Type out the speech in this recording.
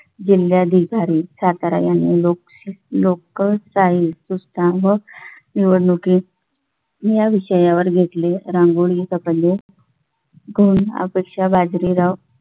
जिल्हाधिकारी सातारा यांनी लोक लोक शाही संस्थापक निवडणुकीत या विषयावर घेतले. रांगोळीच्या सपन जय करून अपेक्षा बाजरी बाजरी राव